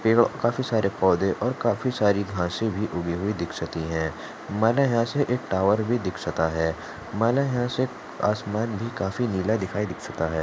काफी सरे पौद और काफी साड़ी घासे उगी हुई दिक्षिते हे मला यहाँ से एक टावर भी दिक्षाते हे मला यहाँ से आस्मां भी काफी नीला दिक्षाते हे.